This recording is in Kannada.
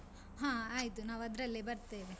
ಹ ಆಯ್ತು, ನಾವು ಅದ್ರಲ್ಲೆ ಬರ್ತೇವೆ.